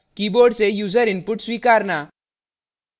* keyboard से user input स्वीकारना